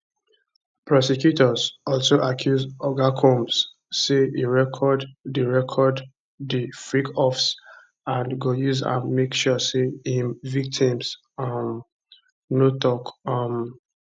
prosecutors also accuse oga combs say e record di record di freakoffs and go use am make sure say im victims um no tok um